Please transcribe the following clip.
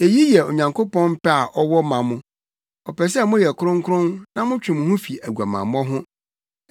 Eyi yɛ Onyankopɔn pɛ a ɔwɔ ma mo. Ɔpɛ sɛ moyɛ kronkron na motwe mo ho fi aguamammɔ ho.